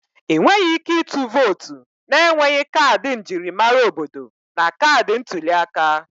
Ị nweghị ike ịtụ vootu na-enweghị kaadị njirimara obodo na kaadị ntuli aka